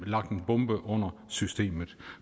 lagt en bombe under systemet